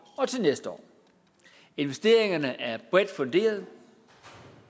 og til næste år investeringerne er bredt funderet og